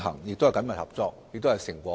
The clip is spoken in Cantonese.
雙方緊密合作，亦已取得成果。